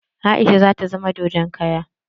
Aisha zata zama dodon kara